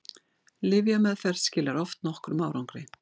lyfjameðferð skilar oft nokkrum árangri